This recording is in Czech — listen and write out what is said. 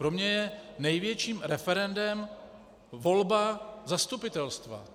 Pro mě je největším referendem volba zastupitelstva.